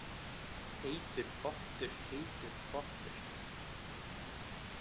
Heitur pottur, heitur pottur